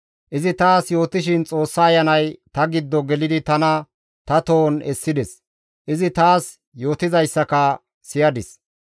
Izi taas yootishin Xoossa Ayanay ta giddo gelidi tana ta tohon essides. Izi taas yootizayssaka siyadis.